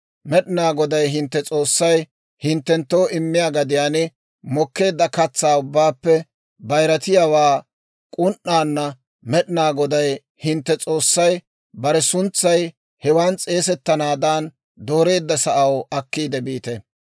Med'inaa Goday hintte S'oossay hinttenttoo immiyaa gadiyaan mokkeedda katsaa ubbaappe bayirattiyaawaa k'un"aana Med'inaa Goday hintte S'oossay bare suntsay hewan s'eesettanaadan dooreedda sa'aw akkiide biite.